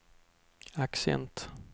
accent